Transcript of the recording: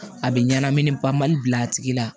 A bɛ ɲanamini bali bi a tigi la